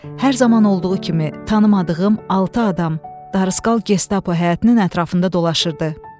Hər zaman olduğu kimi, tanımadığım altı adam Darısqal Gestapo həyətinin ətrafında dolaşırdı.